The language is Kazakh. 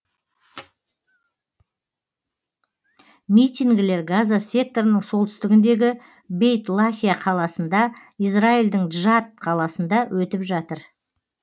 митингілер газа секторының солтүстігіндегі бейт лахия қаласында израильдің джатт қаласында өтіп жатыр